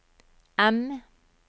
M